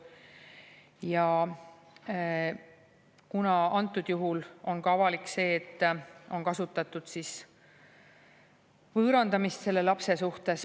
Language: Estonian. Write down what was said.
Ja antud juhul on avalik ka see, et on kasutatud võõrandamist selle lapse suhtes.